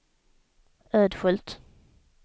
Ödskölt